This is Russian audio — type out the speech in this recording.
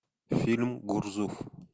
фильм гурзуф